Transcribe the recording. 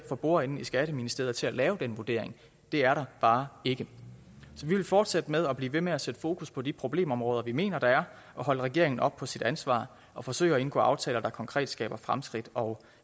for bordenden i skatteministeriet til at lave den vurdering det er der bare ikke så vi vil fortsætte med og blive ved med at sætte fokus på de problemområder som vi mener der er og holde regeringen op på sit ansvar og forsøge at indgå aftaler der konkret skaber fremskridt og